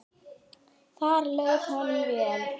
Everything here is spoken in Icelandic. Þar leið honum vel.